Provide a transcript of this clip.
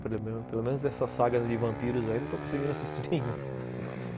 pelo menos dessas sagas de vampiros aí, não estou conseguindo assistir nenhum.